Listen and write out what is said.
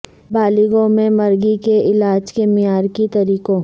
بالغوں میں مرگی کے علاج کے معیار کے طریقوں